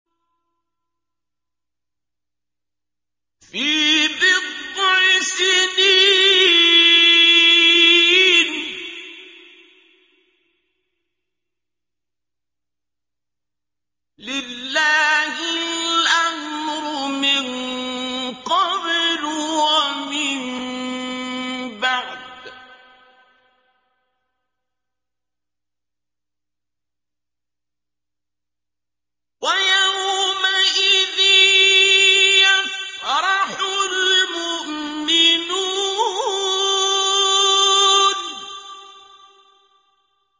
فِي بِضْعِ سِنِينَ ۗ لِلَّهِ الْأَمْرُ مِن قَبْلُ وَمِن بَعْدُ ۚ وَيَوْمَئِذٍ يَفْرَحُ الْمُؤْمِنُونَ